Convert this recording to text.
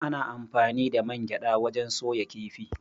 Ana anfani da man gyaɗa wajen soya kifi.